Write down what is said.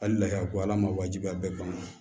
Hali lahako ala ma wajibiya a bɛɛ ban na